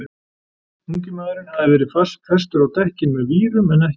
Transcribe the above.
Ungi maðurinn hafði verið festur á dekkin með vírum en ekki reipi.